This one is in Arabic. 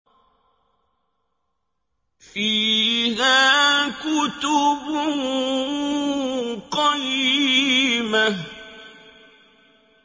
فِيهَا كُتُبٌ قَيِّمَةٌ